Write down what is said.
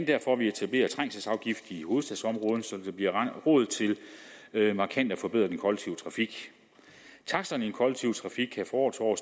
derfor vi etablerer trængselsafgift i hovedstadsområdet så der bliver råd til markant at forbedre den kollektive trafik taksterne i den kollektive trafik kan fra år til år